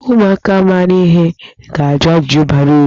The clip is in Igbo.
Ụmụaka maara ihe ga-ajụ ajụjụ bara uru.